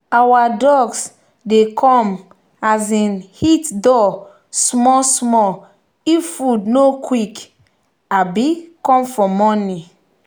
our ducks dey come um hit door small small if food no quick um come for morning.